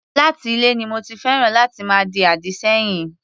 Láti ilè ni mo ti féràn láti máa di àdì sẹ́yìn.